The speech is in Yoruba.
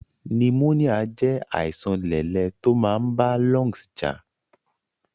Pneumonia jé àìsan lẹ̀lẹ to máa n ba lungs jà